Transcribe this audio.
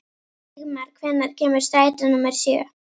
Vígmar, hvenær kemur strætó númer sjö?